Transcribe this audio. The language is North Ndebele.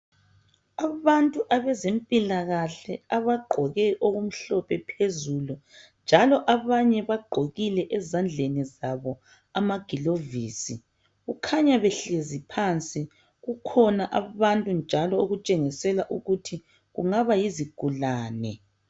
abantu abezempilakahle abagqoke okumhlophe phezulunjalo abantu laba bagqokile ezandleni zwabo amagulovisi kukhanya behlezi phansi kukhona abantu okutshengiselwa ukuthi kungaba yizigulane